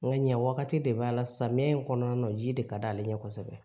Nka ɲɛ wagati de b'a la samiya in kɔnɔna na ji de ka d' ale ɲɛ kosɛbɛ